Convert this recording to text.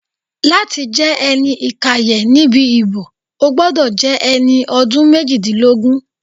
Láti jẹ́ ẹni ìkàyẹ̀ níbi ìbò, o gbọ́dọ̀ jẹ́ ẹni ọdún méjìdínlógún